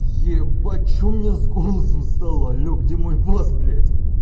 ебать что у меня с голосом стало алло где мой бас блять